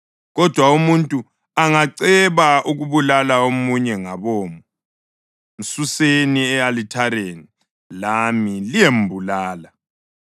Kodwa umuntu angaceba ukubulala omunye ngabomo, msuseni e-alithareni lami liyembulala.